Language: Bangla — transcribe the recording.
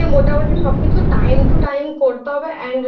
করতে হবে একটু হালকা খাবার খেতে হবে মানে